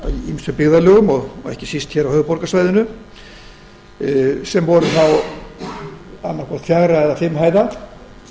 ýmsum byggðarlögum ekki síst hér á höfuðborgarsvæðinu sem voru annaðhvort fjögra eða fimm hæða